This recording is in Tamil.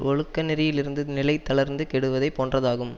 ஒழுக்கநெறியிலிருந்து நிலை தளர்ந்து கெடுவதைப் போன்றதாகும்